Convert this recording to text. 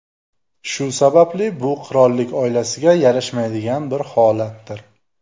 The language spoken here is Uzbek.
Shu sababli bu qirollik oilasiga yarashmaydigan bir holatdir.